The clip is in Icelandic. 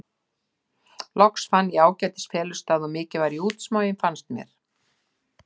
Loks fann ég ágætis felustað og mikið var ég útsmogin, fannst mér.